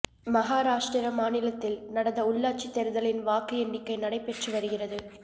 மகாராஷ்டிரா மாநிலத்தில் நடந்த உள்ளாட்சி தேர்தலின் வாக்கு எண்ணிக்கை நடைப்பெற்று வருகிறது